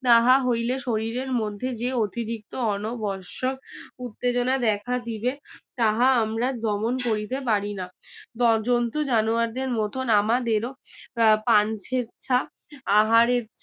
তাহা হইলে শরীরের মধ্যে যে অতিরিক্ত অনবশত উত্তেজনা দেখা দিবে তাহা আমরা দমন করিতে পারি না জ~জন্তু জানোয়ার দের মতন আমাদেরও প্রা~প্র্যাঞ্চে ছা আহারের